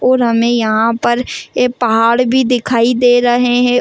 और हमें यहां पर ये पहाड़ भी दिखाई दे रहे हैं।